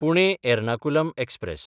Pune-Ernakulam express